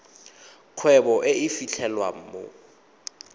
kgwebo e e fitlhelwang mo